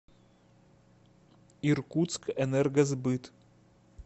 иркутскэнергосбыт